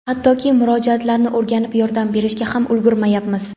hattoki murojaatlarni o‘rganib yordam berishga ham ulgurmayapmiz.